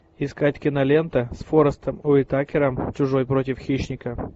искать кинолента с форестом уитакером чужой против хищника